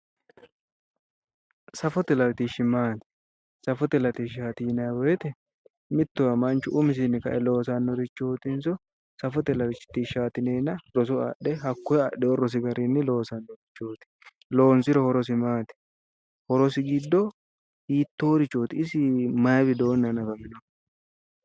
Safote latishshi maati, safote latishshati yinnanni woyte mittowa manchu umisinni kae loosanorichotinso safote latishshati yinnenna roso adhe hakkoe adhino rosichi garinni loosanorichoti, loonsiro horosi maati, horosi giddo hiittorichoti isini maayi widooni hanafinoho ?